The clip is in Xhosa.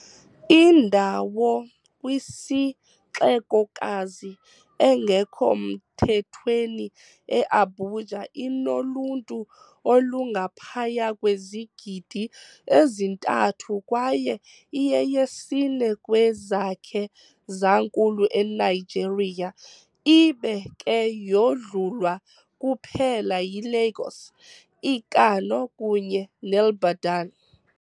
Indawo kwisixekokazi engekho mthethweni eAbuja inoluntu olungaphaya kwezigidi ezintathu kwaye iyeyesine kwezakhe zankulu eNigeria, ibe ke yodlulwa kuphela yiLagos, iKano kunye neIbadan.